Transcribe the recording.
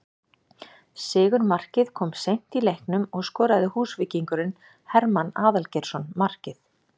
Sigurmarkið kom seint í leiknum og skoraði Húsvíkingurinn Hermann Aðalgeirsson markið